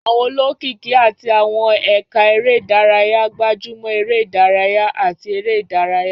Àwọn olókìkí àti àwọn ẹ̀ka eré ìdárayá gbájú mọ́ eré ìdárayá àti eré ìdárayá.